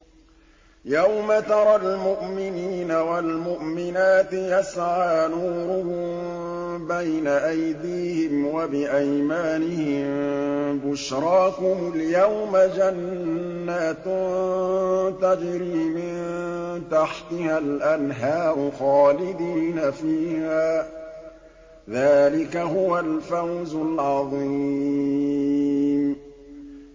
يَوْمَ تَرَى الْمُؤْمِنِينَ وَالْمُؤْمِنَاتِ يَسْعَىٰ نُورُهُم بَيْنَ أَيْدِيهِمْ وَبِأَيْمَانِهِم بُشْرَاكُمُ الْيَوْمَ جَنَّاتٌ تَجْرِي مِن تَحْتِهَا الْأَنْهَارُ خَالِدِينَ فِيهَا ۚ ذَٰلِكَ هُوَ الْفَوْزُ الْعَظِيمُ